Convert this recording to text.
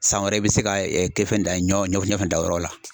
San wɛrɛ i bɛ se ka kɛ fɛn dan ɲɔ ɲɔ fɛnɛ dan o yɔrɔ la.